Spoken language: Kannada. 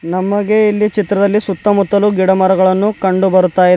ನಮಗೆ ಇಲ್ಲಿ ಚಿತ್ರದಲ್ಲಿ ಸುತ್ತಮುತ್ತಲು ಗಿಡಮರಗಳನ್ನು ಕಂಡು ಬರ್ತಾ ಇದೆ.